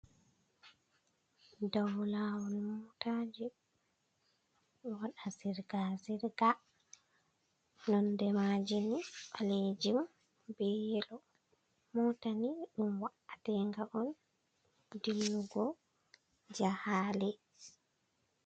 Dow lawol motaji ɗo waɗa zirga zirga. Nonde majeni ɓalejum be yelo motani ɗum wa'atenga on dillugo jahale.